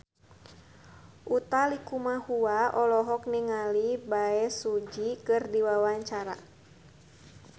Utha Likumahua olohok ningali Bae Su Ji keur diwawancara